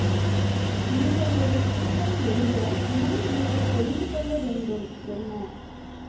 நீங்கள் ஒரு சுருக்கம் எழுத முன் நீங்கள் தெரிந்து கொள்ள வேண்டும் என்ன